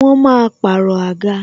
Wọn máa pàrọ̀ àga.